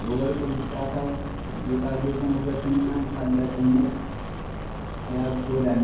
የወርቅ ብልጭታው የጌጣጌጡን ውበትና ታላቅነት ያጎላል።